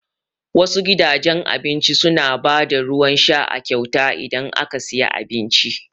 Wasu gidajen abincin su na ba da ruwan sha a kyauta idan aka siya abinci